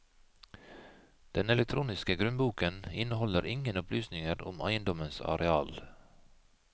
Den elektroniske grunnboken inneholdt ingen opplysninger om eiendommens areal.